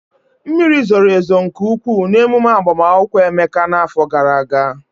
Mmiri zoro ezo nke ụkwụụ n'emume agbamakwụkwọ Emeka n'afọ gara aga.